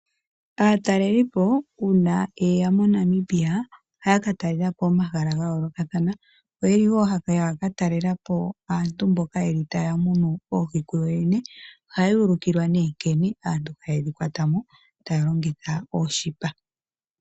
Aatalelipo uuna ye ya MoNamibia ohaya ka talelapo omahala ga yoolokathana. Oyeli wo haya ka talela po aantu mboka taya munu oohi ku yoyene . Ohaya ulukilwa nee nkene aantu taye dhi kwata mo taya longitha oonete.